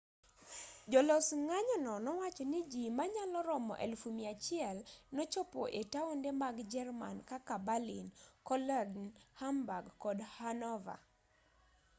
jolos ng'anyono nowacho ni ji manyalo romo 100,000 nochopo e taonde mag jerman kaka berlin cologne hamburg kod hanover